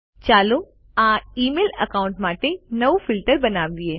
ચાલો આ email account માટે નવું ફિલ્ટર બનાવીએ